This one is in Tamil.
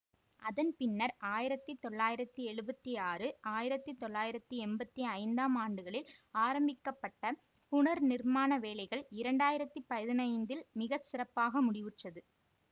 அதன் பின்னர் ஆயிரத்தி தொள்ளாயிரத்தி எழுவத்தி ஆறு ஆயிரத்தி தொள்ளாயிரத்தி எம்பத்தி ஐந்தாம் ஆண்டுகளில் ஆரம்பிக்க பட்ட புனர்நிர்மாண வேலைகள் இரண்டு ஆயிரத்தி பதினைந்தில் மிக சிறப்பாக முடிவுற்றது